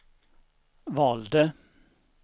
valde